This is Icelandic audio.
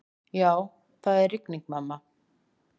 Já, það var rigning, mamma.